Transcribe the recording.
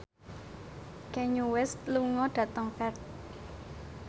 Kanye West lunga dhateng Perth